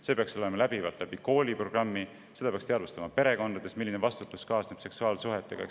See peaks olema läbivalt kooliprogrammi osa ja seda peaks ka perekonnas, milline vastutus kaasneb seksuaalsuhetega.